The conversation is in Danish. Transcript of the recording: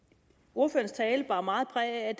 ordførerens tale bar meget præg af